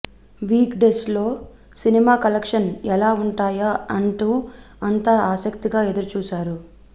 week డేస్లో cinema collections ఎలా ఉంటాయా అంటూ అంతా ఆసక్తిగా ఎదురు చూశారు